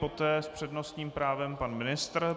Poté s přednostním právem pan ministr.